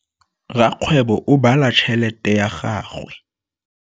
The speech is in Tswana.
Rakgwêbô o bala tšheletê ya gagwe.